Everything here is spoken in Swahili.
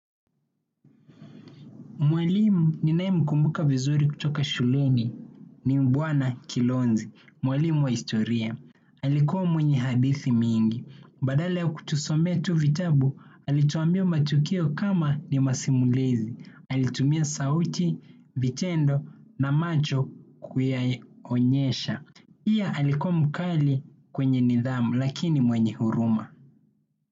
Mwalimu ninayemkumbuka vizuri kutoka shuleni ni Mbwana Kilonzi. Mwalimu wa historia. Alikuwa mwenye hadithi mingi. Badala ya kutusomea tu vitabu, alituambia matukio kama ni masimulizi. Alitumia sauti, vitendo na macho kuyaonyesha. Pia, alikuwa mkali kwenye nidhamu lakini mwenye huruma.